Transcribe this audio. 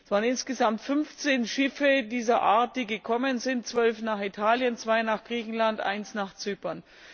Es waren insgesamt fünfzehn Schiffe dieser Art, die gekommen sind, zwölf nach Italien, zwei nach Griechenland, eins nach Zypern.